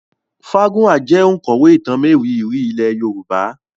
Fágúnwà jẹ́ òǹkọ̀wé ìtàn mérìíìírí ilé Yorùbá